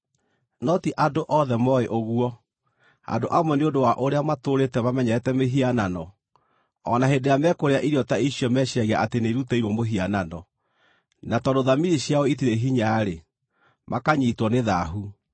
No ti andũ othe mooĩ ũguo. Andũ amwe nĩ ũndũ wa ũrĩa matũũrĩte mamenyerete mĩhianano, o na hĩndĩ ĩrĩa mekũrĩa irio ta icio meciiragia atĩ nĩirutĩirwo mũhianano, na tondũ thamiri ciao itirĩ hinya-rĩ, makanyiitwo nĩ thaahu.